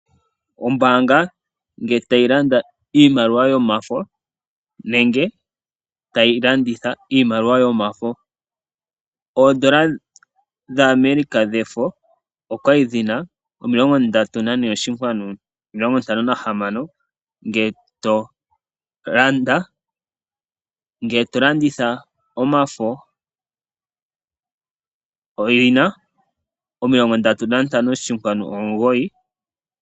Oombaanga nge tayi landa iimaliwa yomafo nenge tayi landitha iimaliwa yomafo. Oondola dha America dhefo okwali dhina omilongo ndatu nane oshinkwanu omilongo ntano nahamano nge to landa. Nge to landitha omafo oyina omilongo ndatu nantano oshinkwanu omugoyi.